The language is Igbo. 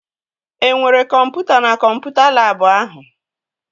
E nwere kọmputa na kọmputa labụ ahụ?